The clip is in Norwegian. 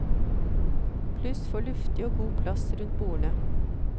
Pluss for luftig og god plass rundt bordene.